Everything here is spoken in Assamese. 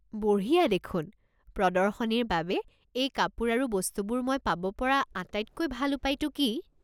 বঢ়িয়া দেখোন। প্ৰদৰ্শনীৰ বাবে এই কাপোৰ আৰু বস্তুবোৰ মই পাব পৰা আটাইতকৈ ভাল উপায়টো কি?